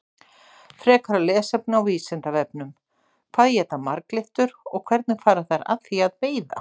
Frekara lesefni á Vísindavefnum: Hvað éta marglyttur og hvernig fara þær að því að veiða?